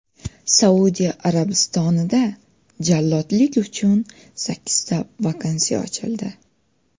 Saudiya Arabistonida jallodlik uchun sakkizta vakansiya ochildi.